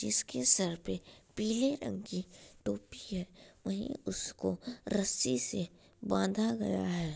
जिसके सर पे पीले रंग की टोपी है वहीं उसको रस्सी से बांधा गया है।